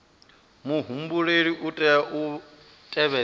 muhumbeli u tea u tevhedza